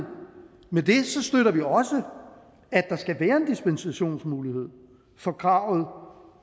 med det støtter vi også at der skal være en dispensationsmulighed fra kravet